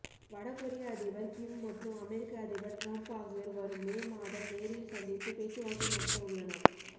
வடகொரிய அதிபர் கிம் மற்றும் அமெரிக்க அதிபர் டிரம்ப் ஆகியோர் வரும் மே மாதம் நேரில் சந்தித்து பேச்சுவார்த்தை நடத்தவுள்ளனர்